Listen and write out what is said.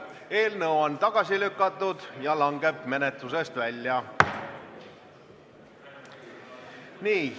Eelnõu on tagasi lükatud ja langeb menetlusest välja.